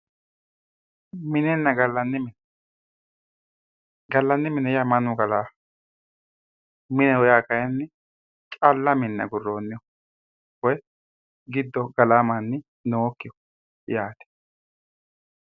Minenna gallanni mine, gallanni mini mannu gallanoho ,mineho yaa kayinni calla mine aguronniho woyi giddo gallano manni noyikkiho yaate.